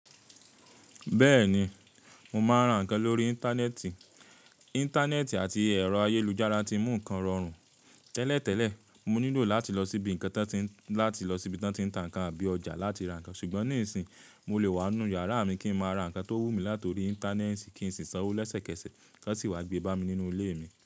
Bẹ́ẹ̀ni, mo máa ń ra nǹkan lórí Íńtánẹ́ẹ̀tì. Íńtánẹ́ẹ̀tì àti ẹ̀rọ ayélujára tí mú nǹkan rọrùn. Tẹ́lẹ̀tẹ́lẹ̀ mo nílò láti lọ síbi tá ń ti nǹkan bí i ọjà láti ra nǹkan, ṣùgbọ́n nísìínyi mo lè wà nínú yàrá mi kí n má ra nǹkan tó wù mí láti orí Íńtánẹ́ẹ̀tì kí n sì sanwó lẹ́sẹ̀kẹsẹ̀, tọn sì wá gbé bámi nínú ilé mi.